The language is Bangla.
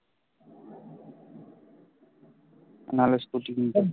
নাহলে স্কুটি কিনবো